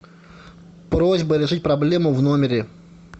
просьба решить проблему в номере